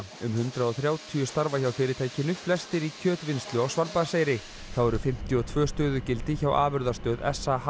um hundrað og þrjátíu starfa hjá fyrirtækinu flestir í kjötvinnslu á Svalbarðseyri þá eru fimmtíu og tvö stöðugildi hjá afurðastöð